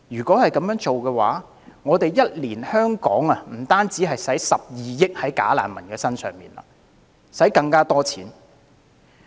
這樣的話，香港每年將不止花12億元在"假難民"身上，而是要花更多錢。